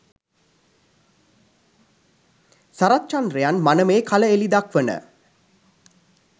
සරත්චන්ද්‍රයන් මනමේ කල එලි දක්වන